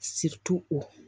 o